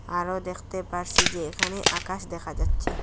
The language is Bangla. আরো দেখতে পারসি যে এখানে আকাশ দেখা যাচ্ছে।